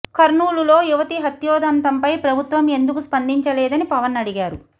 కర్నూలులో యువతి హత్యోదంతంపై ప్రభుత్వం ఎందుకు స్పందిచలేదని పవన్ అడిగారు